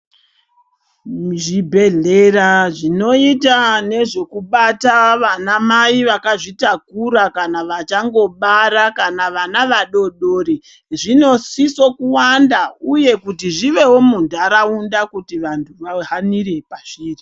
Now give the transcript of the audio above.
Muzvibhedhlera zvinoita nezvekubata vanamai akazvitakura kana vachangobara kana vana vadodori zvinosisa kuwanda uye kuti zvivewo munharaunda kuti vantu vahanire pazviri.